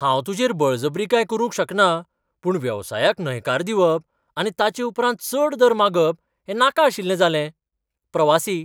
हांव तुजेर बळजबरी कांय करूंक शकना, पूण वेवसायाक न्हयकार दिवप आनी ताचे उपरांत चड दर मागप हें नाका आशिल्लें जालें. प्रवासी